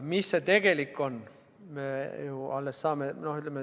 Milline see tegelik summa on?